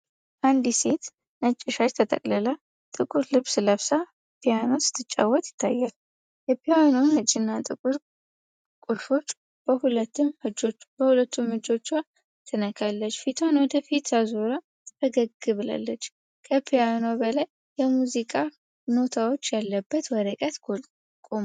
አንዲት ሴት ነጭ ሻሽ ተጠቅልላ ጥቁር ልብስ ለብሳ ፒያኖ ስትጫወት ይታያል። የፒያኖውን ነጭና ጥቁር ቁልፎች በሁለቱም እጆቿ ትነካለች። ፊቷን ወደ ፊት አዙራ ፈገግ ብላለች። ከፒያኖው በላይ የሙዚቃ ኖታዎች ያለበት ወረቀት ቆሟል።